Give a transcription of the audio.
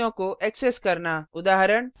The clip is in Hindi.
structure के सदस्यों को access करना